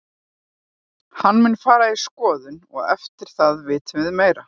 Hann mun fara í skoðun og eftir það vitum við meira.